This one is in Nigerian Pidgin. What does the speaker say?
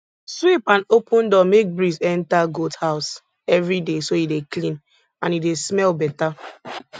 sweep and open door make breeze enter goat house everyday so e dey clean and e dey smell better